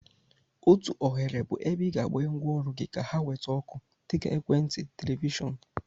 Otu oghere bụ ebe ị ga-agbanye ngwaọrụ gị ka ha nweta ọkụ, dịka. Ekwentị, Televishon.